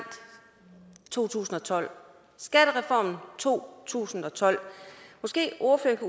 to tusind og tolv skattereformen to tusind og tolv måske ordføreren